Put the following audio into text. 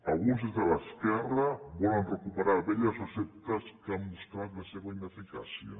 alguns des de l’esquerra volen recuperar velles receptes que han mostrat la seva ineficàcia